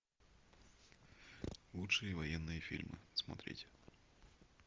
лучшие военные фильмы смотреть